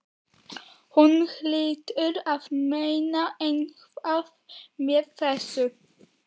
Hún hlýtur að meina eitthvað með þessu!